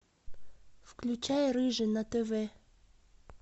включай рыжий на тв